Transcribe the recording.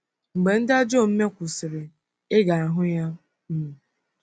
Mgbe ndị ajọ omume kwụsịrị, ị ga-ahụ ya um.